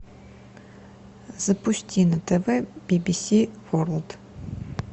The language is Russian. запусти на тв би би си ворлд